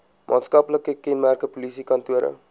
maatskaplike kenmerke polisiekantore